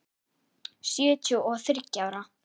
Sjötíu og þriggja ára!